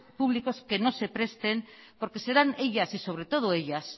públicos que no se presten porque serán ellas y sobre todo ellas